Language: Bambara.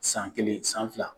San kelen, san fila